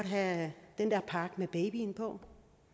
have den der pakke med babyen på